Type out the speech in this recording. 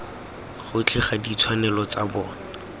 gotlhe ga ditshwanelo tsa bona